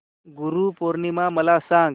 गुरु पौर्णिमा मला सांग